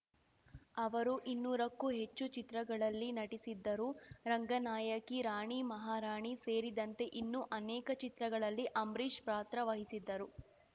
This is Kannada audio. ಅವರು ಇನ್ನೂರ ಕ್ಕೂ ಹೆಚ್ಚು ಚಿತ್ರಗಳಲ್ಲಿ ನಟಿಸಿದ್ದರು ರಂಗನಾಯಕಿ ರಾಣಿ ಮಹಾರಾಣಿ ಸೇರಿದಂತೆ ಇನ್ನೂ ಅನೇಕ ಚಿತ್ರಗಳಲ್ಲಿ ಅಂಬರೀಷ್‌ ಪಾತ್ರ ವಹಿಸಿದ್ದರು